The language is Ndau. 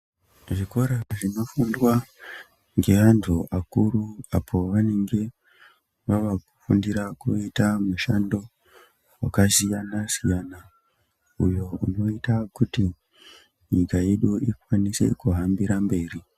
Zvikora zvinofundwa ngeantu akuru apo vanenge vava kufundira kuita mushando vakasiyana-siyana, uyo unoita kuti nyika yedu ikwanise kuhambira mberi.